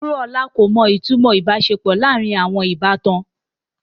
Wuraola ko mo itumo ibaṣepọ laarin awọn ibatan